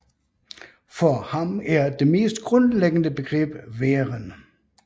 For ham er det mest grundlæggende begreb væren